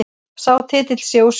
Sá titill sé úr sögunni